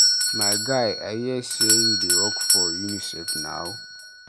My guy, I hear say you dey work for Unicef now